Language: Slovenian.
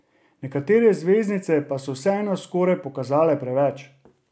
Nekatere zvezdnice pa so vseeno skoraj pokazale preveč.